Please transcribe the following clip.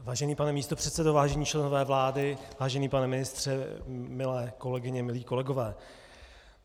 Vážený pane místopředsedo, vážení členové vlády, vážený pane ministře, milé kolegyně, milí kolegové.